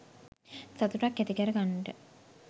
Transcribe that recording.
සතුටක් ඇති කර ගන්නට